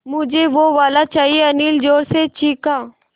मझे वो वाला चाहिए अनिल ज़ोर से चीख़ा